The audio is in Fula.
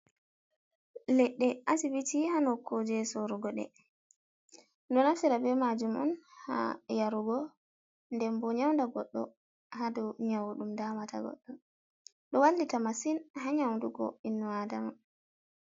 leɗɗe asibiti haa nokkuuje soorugo ɗe, ɗo naftira bee maajum haa yarugo ndembo nyawda goɗɗo haa daw nyaw ɗum daamata goɗɗo, ɗo wallita masin haa nyawdugo innu -Adama.